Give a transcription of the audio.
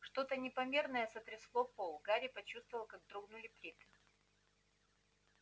что-то непомерное сотрясло пол гарри почувствовал как дрогнули плиты